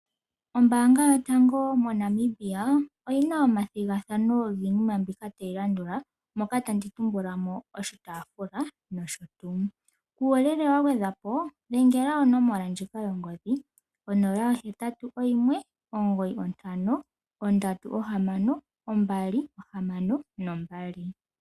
Ombaanga yotango moNamibia oyina omathigathano giinima mbika tayilandula moka tandi tumbulamo oshitaafula noshotuu uuyelele wangwedhapo dhengela onomola ndjika yongodhi 0819536262.